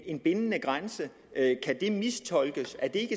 en bindende grænse mistolkes er det